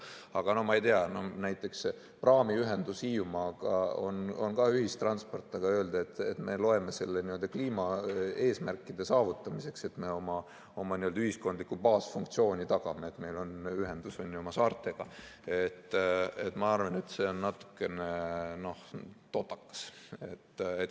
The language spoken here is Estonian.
Aga no ma ei tea, näiteks praamiühendus Hiiumaaga on ka ühistransport, aga öelda, et me loeme selle kliimaeesmärkide saavutamiseks, et me oma n‑ö ühiskondlikku baasfunktsiooni tagame, et meil on ühendus oma saartega, ma arvan, et see on natuke totakas.